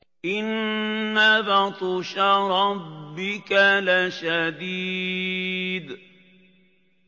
إِنَّ بَطْشَ رَبِّكَ لَشَدِيدٌ